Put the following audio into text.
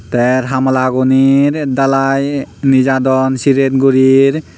ter hamalaguney dalai nejadon siret guri.